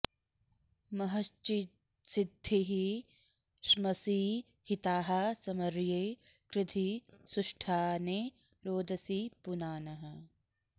म॒हश्चि॒द्धि ष्मसि॑ हि॒ताः स॑म॒र्ये कृ॒धि सु॑ष्ठा॒ने रोद॑सी पुना॒नः